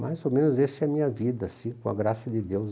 Mais ou menos essa é a minha vida assim, com a graça de Deus.